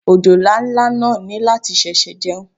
Òjòlá ńlá náà ní láti ṣẹ̀ṣẹ̀ jẹun.